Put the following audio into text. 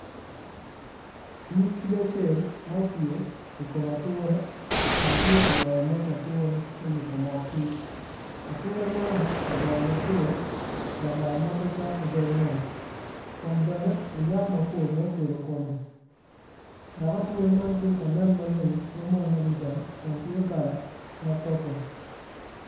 Nyig kic acel ma opye i kom ature kun tye ka ywayo moc ature me yubo mo kic ature man odongo mabor lamal ma pe cok ki dog ngom kun bene onyak mapol ma okelo kome dok ature man tye ka nen maleng mamwonya adada kun tye kala ma papul.